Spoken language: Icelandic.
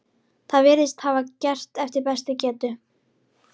Það virðist hann hafa gert eftir bestu getu.